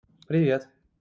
привет